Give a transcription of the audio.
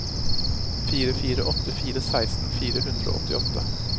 fire fire åtte fire seksten fire hundre og åttiåtte